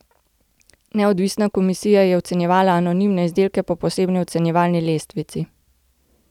Neodvisna komisija je ocenjevala anonimne izdelke po posebni ocenjevalni lestvici.